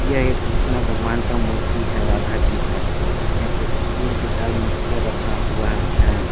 यह एक कृष्णा भगवान का मूर्ति है राधा जी का यहाँ पे तीन से चार मूर्तियाँ रखा हुआ है।